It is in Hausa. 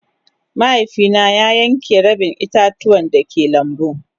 Mahaifi na ya yanke rabin ita-tuwan da ke lambu.